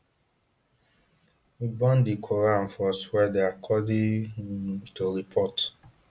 im burn di quran for sweden according um to reports